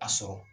A sɔrɔ